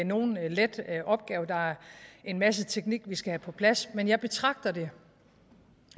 nogen let opgave der er en masse teknik vi skal have på plads men jeg betragter det